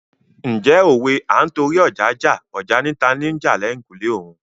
Ǹjẹ́ òwe "À ń torí ọja jà, ọja ni talo ń jà l'ẹ̀kùlé òun "?